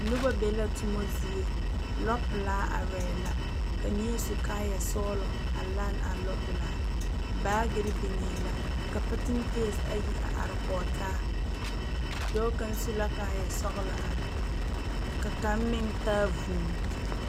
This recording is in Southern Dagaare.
Noba be la toma zie lɔpelaa arɛɛ la ka neɛ su kaayɛ sɔgelɔ a lane a lɔpelaa are baagiri biŋee la ka patenke ayi a are ko taa dɔɔ kaŋ su la kaayɛ sɔgelɔ are ka kaŋ meŋ taa vuu